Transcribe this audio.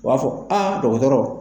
U b'a fɔ a dɔgɔtɔrɔ.